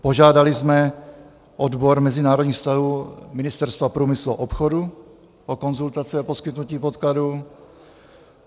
Požádali jsme odbor mezinárodních vztahů Ministerstva průmyslu a obchodu o konzultaci a poskytnutí podkladů.